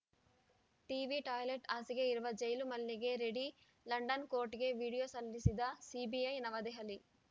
TV toilet ಹಾಸಿಗೆ ಇರುವ ಜೈಲು ಮಲ್ಯಗೆ ರೆಡಿ ಲಂಡನ್‌ ಕೋರ್ಟಿಗೆ ವಿಡಿಯೋ ಸಲ್ಲಿಸಿದ ಸಿಬಿಐ ನವದೆಹಲಿ